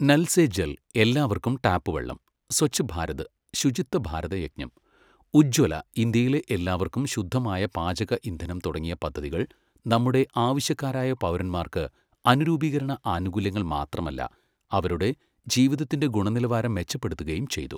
നൽ സേ ജൽ എല്ലാവർക്കും ടാപ്പ് വെള്ളം, സ്വച്ഛ് ഭാരത് ശുചിത്വ ഭാരത യജ്ഞം, ഉജ്ജ്വല ഇന്ത്യയിലെ എല്ലാവർക്കും ശുദ്ധമായ പാചക ഇന്ധനം തുടങ്ങിയ പദ്ധതികൾ നമ്മുടെ ആവശ്യക്കാരായ പൗരന്മാർക്ക് അനുരൂപീകരണ ആനുകൂല്യങ്ങൾ മാത്രമല്ല, അവരുടെ ജീവിതത്തിന്റെ ഗുണനിലവാരം മെച്ചപ്പെടുത്തുകയും ചെയ്തു.